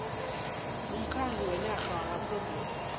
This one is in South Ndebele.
womkhandlu wenarha wamaphrovinsi